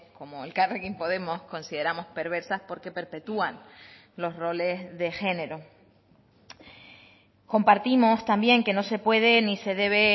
como elkarrekin podemos consideramos perversas porque perpetúan los roles de género compartimos también que no se pueden ni se debe